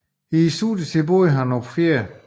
I studietiden boede han på 4